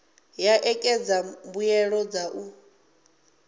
ya ṋekedza mbuelo dza u